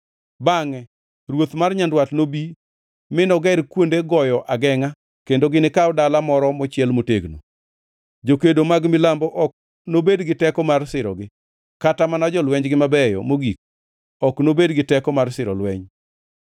Bangʼe ruoth mar Nyandwat nobi mi noger kuonde goyo agengʼa kendo ginikaw dala moro mochiel motegno. Jokedo mag Milambo ok nobed gi teko mar sirogi, kata mana jolwenjgi mabeyo mogik ok nobed gi teko mar siro lweny.